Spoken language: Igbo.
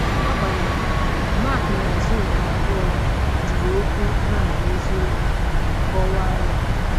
Agbanyeghị, Mark na Azuka abụọ jiri okwu “nard eziokwu” kọwaa ya.